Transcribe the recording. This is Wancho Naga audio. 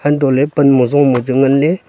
antoley panmo zomo chu ngan ley.